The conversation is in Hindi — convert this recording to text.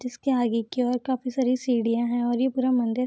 जिसके आगे की और काफी सारी सीढ़ियां है औ ये पूरा मंदिर --